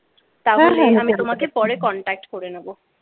তাহলে আমি তোমাকে পরে কন্টাক্ট করে নেবো।